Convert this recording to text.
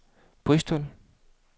Bristol